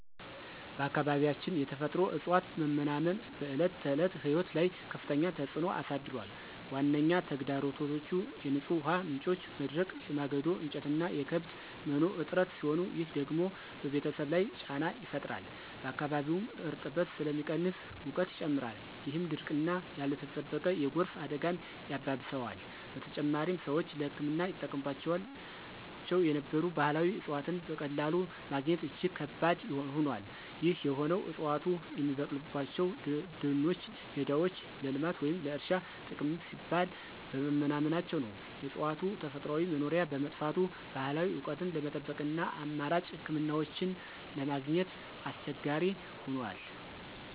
በአካባቢያችን የተፈጥሮ እፅዋት መመናመን በዕለት ተዕለት ሕይወት ላይ ከፍተኛ ተጽዕኖ አሳድሯል። ዋነኛ ተግዳሮቶቹ የንጹህ ውሃ ምንጮች መድረቅ፣ የማገዶ እንጨትና የከብት መኖ እጥረት ሲሆኑ፣ ይህ ደግሞ በቤተሰብ ላይ ጫና ይፈጥራል። በአካባቢውም እርጥበት ስለሚቀንስ ሙቀት ይጨምራል፣ ይህም ድርቅና ያልተጠበቀ የጎርፍ አደጋን ያባብሰዋል። በተጨማሪም፣ ሰዎች ለሕክምና ይጠቀሙባቸው የነበሩ ባህላዊ እፅዋትን በቀላሉ ማግኘት እጅግ ከባድ ሆኗል። ይህ የሆነው ዕፅዋቱ የሚበቅሉባቸው ደኖችና ሜዳዎች ለልማት ወይም ለእርሻ ጥቅም ሲባል በመመናመናቸው ነው። የእፅዋቱ ተፈጥሯዊ መኖሪያ በመጥፋቱ፣ ባህላዊ እውቀትን ለመጠበቅና አማራጭ ሕክምናዎችን ለማግኘት አስቸጋሪ ሆኗል።